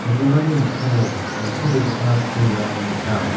mikkango nitobegipa pulrang gnang.